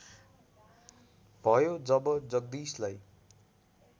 भयो जब जगदीशलाई